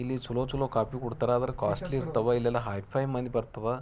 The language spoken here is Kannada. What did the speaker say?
ಇಲ್ಲಿ ಚಲೋ ಚಲೋ ಕಾಫಿ ಕುಡ್ತಾರ ಆದ್ರೆ ಕಾಸ್ಟ್ಲಿ ಇರ್ತಾವ . ಎಲ್ಲ ಹೈಫೈ ಮಂದಿ ಬರ್ತಾವ.